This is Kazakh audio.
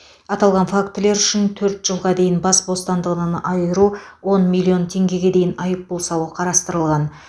аталған фактілер үшін төрт жылға дейін бас бостандығынан айыру он миллион теңгеге дейін айыппұл салу қарастырылған